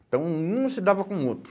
Então um não se dava com o outro.